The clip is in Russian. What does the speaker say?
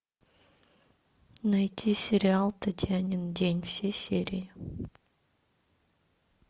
найти сериал татьянин день все серии